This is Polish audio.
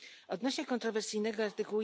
Odnośnie kontrowersyjnego art.